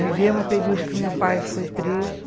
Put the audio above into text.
Vivemos um período em que meu pai foi preso.